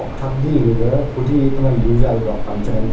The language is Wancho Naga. kuthak di gaga kudi tewanlu zagadok pan chengan tai--